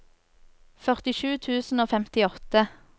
førtisju tusen og femtiåtte